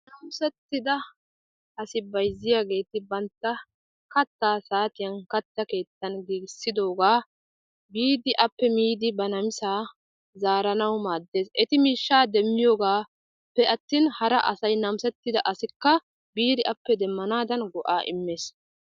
Naamisetidda asi bayzziyaageti bantta kaattaa saatiyaan kaatta keettan giigisiidogaa biidi appe miidi ba namisaa zaaranawu maaddees. eti miishshaa demmiyoogappe'atin hara asay namisettida asika biidi appe go"aa demanaaan maaddees.